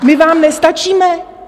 My vám nestačíme?